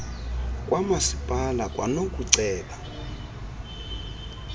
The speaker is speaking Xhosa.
kamaspala kwanoku ceba